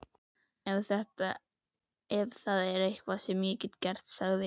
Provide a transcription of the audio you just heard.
Ef það er eitthvað sem ég get gert sagði